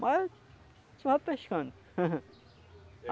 Mas eu só vou pescando.